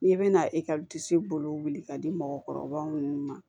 N'i bɛna ekɔli disi bolo ka di mɔgɔkɔrɔbaw minnu ma